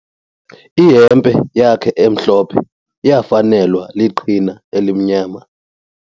Ihempe yakhe emhlophe iyafanelwa liqhina elimnyama.